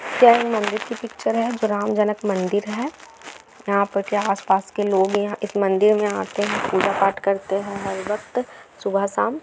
यह मंदिर की पिक्चर है जो ग्राम जनक मंदिर है। यहाँ पर के आस पास के लोग यहा इस मंदिर मे आते हैं पूजा पाठ करते हैं हर वक्त सुभा साम ।